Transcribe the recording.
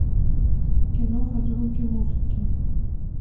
киноха звуки музыки